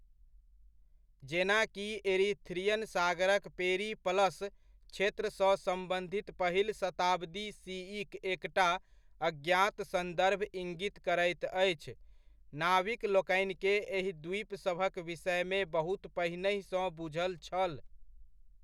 जेना कि, एरीथ्रियन सागरक पेरिप्लस क्षेत्रसँ सम्बन्धित पहिल शताब्दी सीइक एकटा अज्ञात सन्दर्भ इङ्गित करैत अछि, नाविक लोकनिकेँ एहि द्वीपसभक विषयमे बहुत पहिनहिसँ बुझल छल।